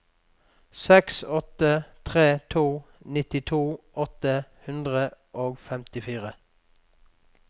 seks åtte tre to nittito åtte hundre og femtifire